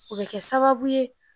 O bɛ kɛ sababu ye